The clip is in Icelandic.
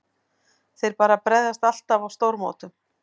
Þeir bara bregðast alltaf á stórmótum.